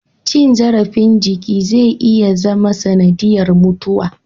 Cin zarafin jiki zai iya zama sanadiyar mutuwa